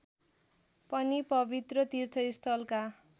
पनि पवित्र तीर्थस्थलका